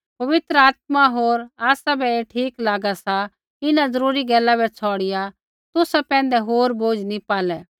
पवित्र आत्मा होर आसाबै ऐ ठीक लागा कि इन्हां ज़रूरी गैला बै छ़ौड़िआ तुसा पैंधै होर बोझ़ नी पालै